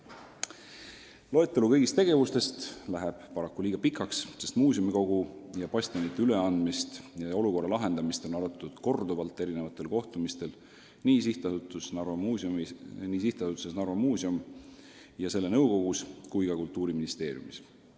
Loetelu kõigist tegevustest läheks paraku liiga pikaks, sest muuseumikogu ja bastionide üleandmist ning olukorra lahendamist on arutatud korduvalt eri kohtumistel nii SA-s Narva Muuseum ja selle nõukogus kui ka Kultuuriministeeriumis.